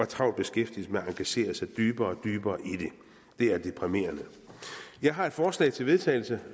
travlt beskæftiget med at engagere sig dybere og dybere i det det er deprimerende jeg har et forslag til vedtagelse